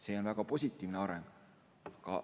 See on väga positiivne areng.